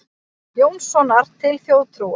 Jónssonar til þjóðtrúar.